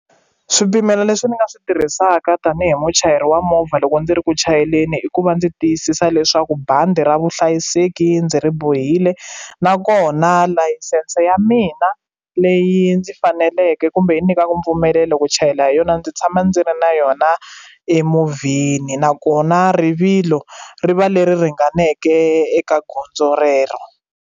Swipimelo leswi ni nga swi tirhisaka tanihi muchayeri wa movha loko ndzi ri ku chayeleni i ku va ndzi tiyisisa leswaku bandi ra vuhlayiseki ndzi ri bohile nakona layisense ya mina leyi ndzi faneleke kumbe yi nyikaka mpfumelelo ku chayela hi yona ndzi tshama ndzi ri na yona emovheni nakona rivilo ri va leri ringaneke eka gondzo rero.